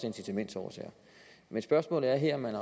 incitamentsårsager men spørgsmålet er her om man